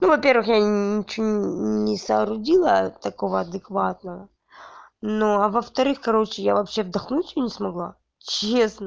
но во-первых я ничего не соорудила такого адекватного но а во-вторых короче я вообще вдохнуть её не смогла честно